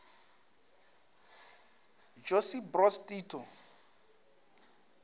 josip broz tito